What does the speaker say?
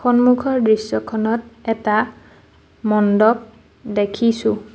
সন্মুখৰ দৃশ্যখনত এটা মণ্ডপ দেখিছোঁ।